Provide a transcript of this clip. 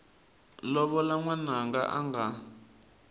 lovola n wananga a nga